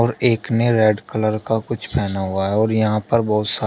और एक ने रैड कलर का कुछ पहना हुआ है और यहां पर बहुत सा--